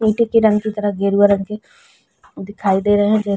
ईटें की रंग की तरह गेरुवा रंग के दिखाई दे रहे हैं जै --